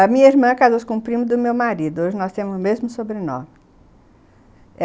A minha irmã casou-se com o primo do meu marido, hoje nós temos o mesmo sobrenome.